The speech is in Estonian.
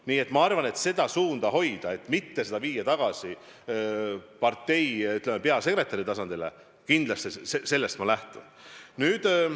Nii et ma arvan, et sellest, et seda suunda hoida, et mitte seda viia tagasi partei peasekretäri tasandile, ma kindlasti lähtun.